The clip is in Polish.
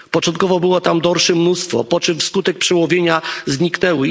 Początkowo było tam mnóstwo dorszy, po czym w skutek przełowienia zniknęły.